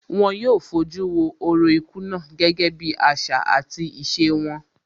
Wón yóò fojú wo orò ikú náà gẹ́gẹ́ bí àṣà àti ìṣe wọn